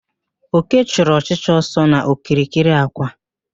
Oke chụrụ ọchịcha ọsọ n'okirikiri àkwà